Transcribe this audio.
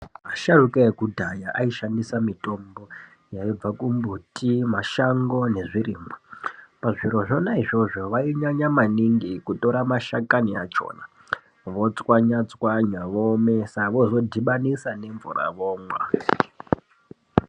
Asharukwa ekudhaya aishandisa mitombo yaibva kumbuti mashango nezvirimwa pazviro zvona izvozvo vainyanya maningi kutora mashakani achona votswanya tswanya voomesa vozodhibanisa nemvura vomwa.